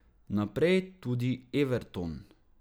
Naprej tudi Everton.